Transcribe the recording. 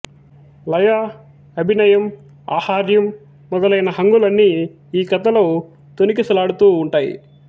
లయ అభినయం ఆహార్యం మొదలైన హంగులన్నీ ఈ కథలో తొణికిసలాడుతూ వుంటాయి